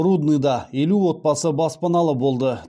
рудныйда елу отбасы баспаналы болды